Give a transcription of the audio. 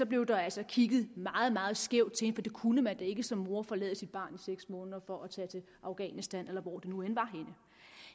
blev der altså kigget meget meget skævt til kunne da ikke som mor forlade sit barn i seks måneder for at tage til afghanistan eller hvor det nu end var